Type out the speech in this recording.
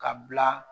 Ka bila